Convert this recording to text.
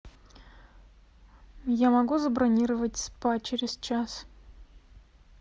я могу забронировать спа через час